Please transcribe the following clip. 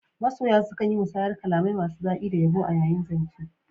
Masoya sukan yi musayar kalamai masu dadi da yabo yayin zance.